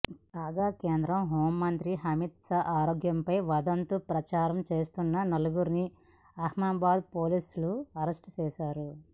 కాగా కేంద్ర హోంమంత్రి అమిత్ షా ఆరోగ్యంపై వదంతులు ప్రచారం చేస్తున్న నలుగురిని అహ్మదాబాద్ పోలీసులు అరెస్ట్ చేశారు